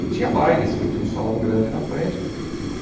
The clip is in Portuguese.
E tinha bailes, porque tinha um salão grande na frente né.